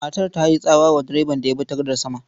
Matar ta yi tsawa wa direban da ya bi ta gadar sama.